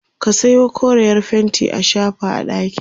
ka Sayo koreyar fainti a shafa a ɗakin